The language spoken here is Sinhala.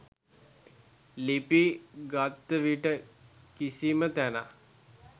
ලිපි ගත්විට කිසිම තැනක්